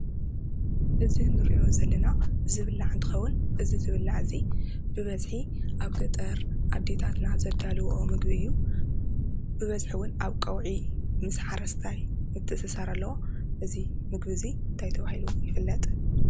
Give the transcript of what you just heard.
እዚ ንሪኦ ዘለና ዝብላዕ እንትኸውን እዚ ዝብላዕ እዚ ብበዝሒ ኣብ ገጠር ኣዴታትና ዘዳልውኦ ምግቢ እዩ ።ብበዝሒ 'ውን ኣብ ቀውዒ ምስ ሓረስታይ ምትእስሳር ኣለዎ። እዚ ምግቢ'ዚ እንታይ ተባሂሉ ይፍለጥ?